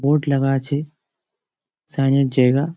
board লাগা-আছে sign - এর জায়গা--